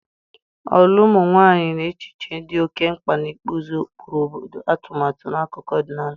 olu ụmụ nwanyị na echiche dị oke mkpa n'ịkpụzi ụkpụrụ obodo, atumatu na akụkọ ọdịnala.